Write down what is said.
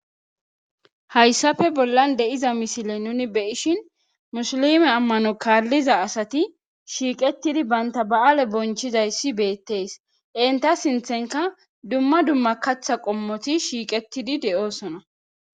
Hayssappe bollan diza misilen nuuni be'ishin musilme amano kaaliza asati shiiqetidi banta baale bonchidayssi beetees. Entta sinththenkka dumma dumma kaththa qommoti shiiqetidi de'osona.